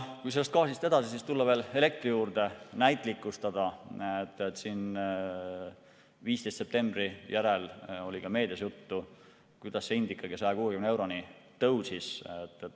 Kui gaasi juurest tulla veel elektri juurde ja näitlikustada, siis 15. septembri järel oli ka meedias juttu, kuidas see hind ikkagi 160 euroni tõusis.